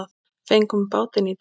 Fengum bátinn í dag.